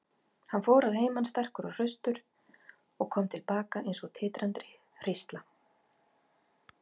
Hann fór að heiman sterkur og hraustur og kom til baka eins og titrandi hrísla.